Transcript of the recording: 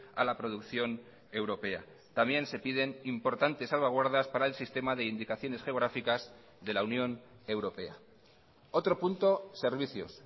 a la producción europea también se piden importantes salvaguardas para el sistema de indicaciones geográficas de la unión europea otro punto servicios